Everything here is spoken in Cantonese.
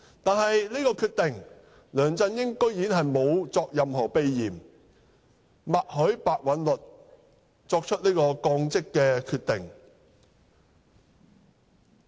對於這個決定，梁振英居然沒有任何避嫌，默許白韞六作出該降職決定。